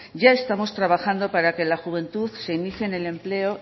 ya estamos trabajando para que la juventud se inicie en el empleo